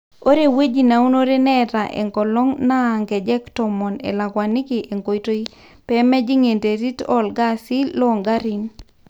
ore ewueji naunore neeta enkolong naa nkejek tomon elakwaniki enkoitoi ,pemejing enterit oo ilgasi loo ngarin